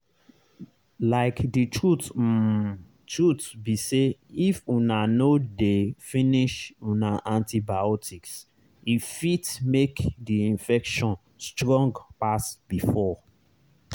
like the um truth be sayif una no dey finish una antibiotics e fit make the infection strong pass before.